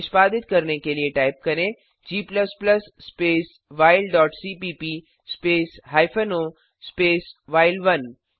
निष्पादित करने के लिए टाइप करें g space while dot cpp space hyphen o space व्हाइल1